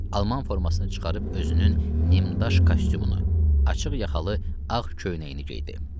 Alman formasını çıxarıb özünün nimdaş kostyumunu, açıq yaxalı ağ köynəyini geydi.